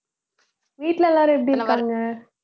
வீட்டுல எல்லாரும் எப்படி இருக்காங்க